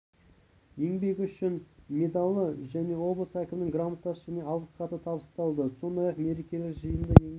еңбегі үшін медалі және облыс әкімінің грамотасы мен алғыс хаты табысталды сондай-ақ мерекелік жиында еңбек